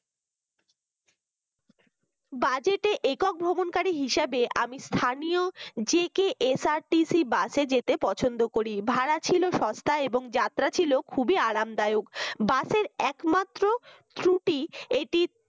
budget একক ভ্রমণকারী হিসাবে আমি স্থানীয় JKSRTC bus যেতে পছন্দ করি ভাড়া ছিল সস্তা এবং যাত্রা ছিল খুবই আরামদায়ক bus র একমাত্র ত্রুটি এটি